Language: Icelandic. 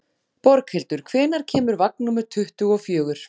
Borghildur, hvenær kemur vagn númer tuttugu og fjögur?